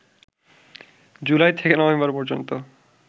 জুলাই থেকে নভেম্বর পর্যন্ত